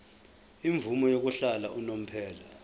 imvume yokuhlala unomphela